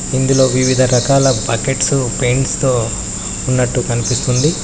ఇందులో వివిధ రకాల పాకెట్సు పెయింట్స్ తో ఉన్నట్టు కనిపిస్తుంది.